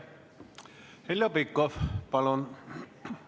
Heljo Pikhof, palun!